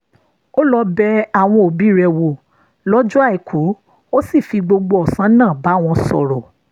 ó lọ bẹ àwọn òbí rẹ̀ wò lọ́jọ́ àìkú ó sì fi gbogbo ọ̀sán náà bá wọn sọ̀rọ̀